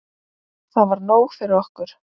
Það var nóg fyrir okkur.